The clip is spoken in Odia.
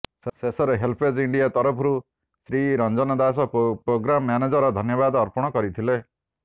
ଶେଷରେ ହେଲ୍ପଏଜ୍ ଇଣ୍ଡିଆ ତରଫରୁ ଶ୍ରୀ ରଂଜୟ ଦାସ ପ୍ରୋଗ୍ରାମ ମାନେଜର ଧନ୍ୟବାଦ ଅର୍ପଣ କରିଥିଲେ